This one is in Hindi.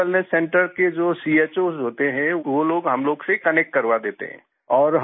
हेल्थ वेलनेस सेंटर के जो चोस होते हैं वो लोग हम लोग से कनेक्ट करवा देते हैं